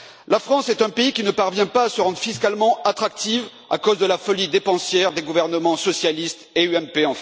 La France est un pays qui ne parvient pas à se rendre fiscalement attractif à cause de la folie dépensière des gouvernements socialistes et UMP.